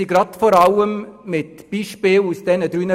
Uns wurden Beispiele aus den drei Bereichen aufgezählt und erklärt.